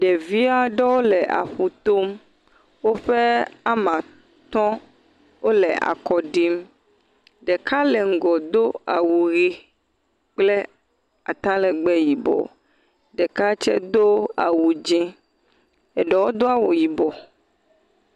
Ɖevi aɖewo le aƒu tom. Woƒe amaa atɔ̃ le akɔ ɖim. Ɖeka le ŋgɔ do awu ʋe kple atalɛgbɛ yibɔ. Ɖeka tsɛ do awu dzẽ. Eɖewo do awu yibɔ.